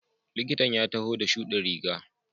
Likitan ya taho da shudin riga.